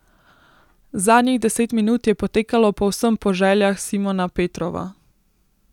Zadnjih deset minut je potekalo povsem po željah Simona Petrova.